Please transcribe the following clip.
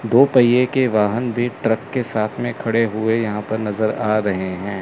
दो पहिए के वाहन भी ट्रक के साथ में खड़े हुए यहां पर नजर आ रहे हैं।